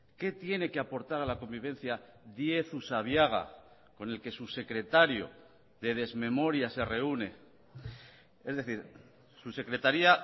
qué tiene que aportar a la convivencia díez usabiaga con el que su secretario de desmemoria se reúne es decir su secretaría